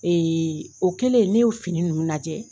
o kelen ne y'o fini ninnu lajɛ